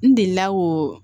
N delila k'o